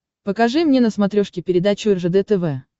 покажи мне на смотрешке передачу ржд тв